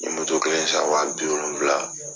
N ye moto kelen san wa bi wolonwula